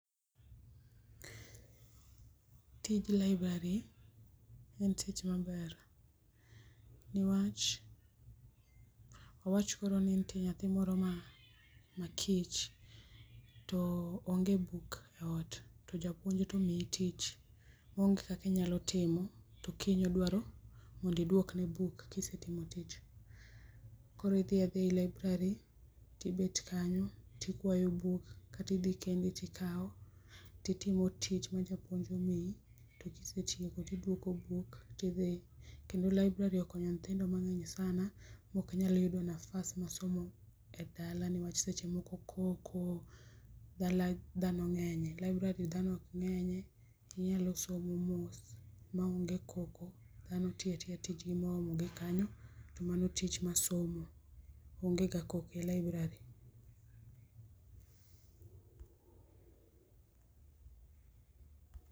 Tij library en tich maber, niwach awach koro ni nitie nyathi moro ma kich to onge buk e ot to japuonj to omiye tich maonge kaka inyalo timo to kiny odwaro mondo iduok ne buk kisetimo tich. Koro idhi adhia e library tibet kanyo tikwayo buk kata idhi kendi tikao titimo tich ma japuonj omiyi to kisetieko to iduoko buk tidhi. Kendo library okonyo nyithindo mangeny sana maok nyal yudo nafas mar somo e dala newach seche moko koko, dala dhano ngenye, library dhano ok ngenye inyalo somo mos maonge koko dhano tiyo atija tijgi ma oomogi kanyo tomano tij somo, onge ga koko e library